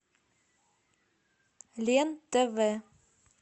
лен тв